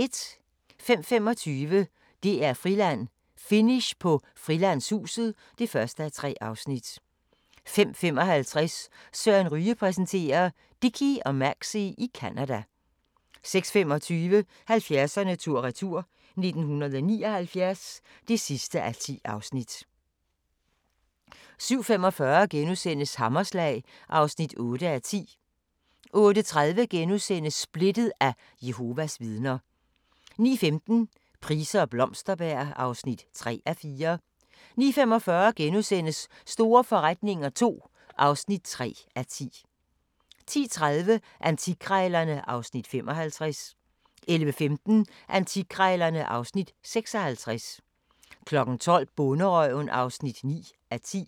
05:25: DR-Friland: Finish på Frilandshuset (1:3) 05:55: Søren Ryge præsenterer: Dickie og Maxie i Canada 06:25: 70'erne tur-retur: 1979 (10:10) 07:45: Hammerslag (8:10)* 08:30: Splittet – af Jehovas Vidner * 09:15: Price og Blomsterberg (3:4) 09:45: Store forretninger II (3:10)* 10:30: Antikkrejlerne (Afs. 55) 11:15: Antikkrejlerne (Afs. 56) 12:00: Bonderøven (9:10)